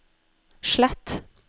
slett